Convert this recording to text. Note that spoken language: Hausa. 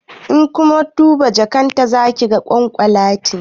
In kun duba jakan ta za ku ga kwakumeti